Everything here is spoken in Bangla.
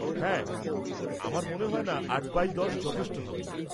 হ্যাঁ, আমার মনে হয়না আট বাই দশ যথেষ্ট হবে।